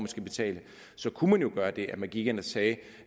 skal betale så kunne man jo gøre det at man gik ind og sagde